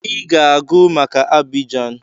I ga-agụ maka Abidjan!